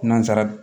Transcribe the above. Nansara